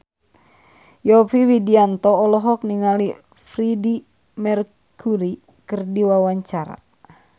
Yovie Widianto olohok ningali Freedie Mercury keur diwawancara